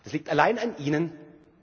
Das liegt allein an Ihnen und